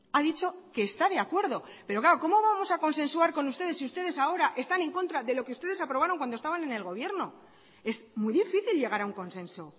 ha dicho que está de acuerdo pero claro cómo vamos a consensuar con ustedes si ustedes ahora están en contra de lo que ustedes aprobaron cuando estaban en el gobierno es muy difícil llegar a un consenso